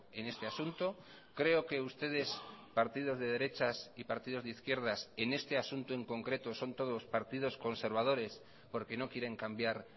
en este asunto creo que ustedes partidos de derechas y partidos de izquierdas en este asunto en concreto son todos partidos conservadores porque no quieren cambiar